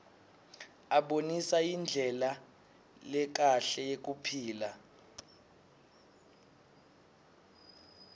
abonisa indlela lekahle yekuphila